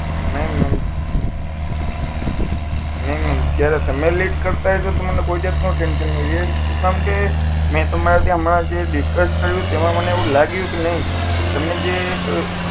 નહીં મેમ નહીં મેમ જયારે તમે late કરતા હશો ત્યારે તમને કોઈ જાત નો tension નહીં રહે શું કામ કે મેં તમારી થી જે હમણાં ડિસકસ કર્યું તેમાં મને એવું લાગ્યું કે નહી તમે જે એક